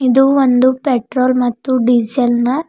ಇದು ಒಂದು ಪೆಟ್ರೋಲ್ ಮತ್ತು ಡೀಸೆಲ್ ನ--